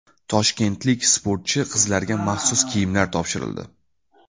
Toshkentlik sportchi qizlarga maxsus kiyimlar topshirildi.